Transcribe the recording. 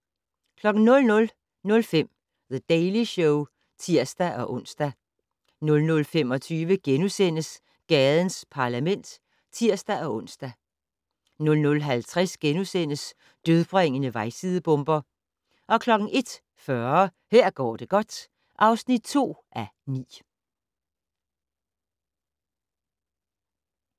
00:05: The Daily Show (tir-ons) 00:25: Gadens Parlament *(tir-ons) 00:50: Dødbringende vejsidebomber * 01:40: Her går det godt (2:9)